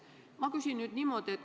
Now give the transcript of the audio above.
Ma küsin nüüd niiviisi.